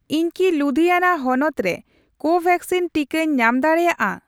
ᱤᱧ ᱠᱤ ᱞᱩᱫᱦᱤᱭᱟᱱᱟ ᱦᱚᱱᱚᱛ ᱨᱮ ᱠᱳᱵᱷᱮᱠᱥᱤᱱ ᱴᱤᱠᱟᱹᱧ ᱧᱟᱢ ᱫᱟᱲᱮᱭᱟᱜᱼᱟ ᱾